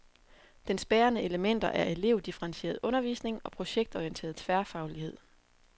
Dens bærende elementer er elevdifferentieret undervisning og projektorienteret tværfaglighed.